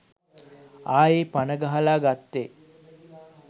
ආයි පන ගහල ගත්තෙ